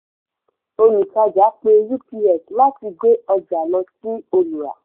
olùtàjà pe ups láti gbé ọjà lọ sí olùrà.